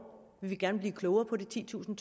vil vi gerne blive klogere på de titusind